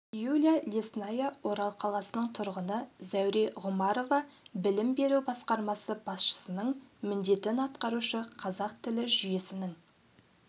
юлия лесная орал қаласының тұрғыны зәуре ғұмарова білім беру басқармасы басшысының міндетін атқарушы қазақ тілі жүйесінің